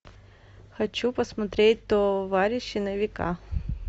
хочу посмотреть товарищи на века